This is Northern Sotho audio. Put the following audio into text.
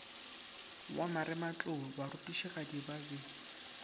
wa marematlou barutišigadi ba be